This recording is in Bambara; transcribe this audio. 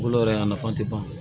Bolo yɛrɛ a nafa tɛ ban